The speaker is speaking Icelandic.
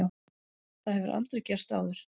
Það hefur aldrei gerst áður.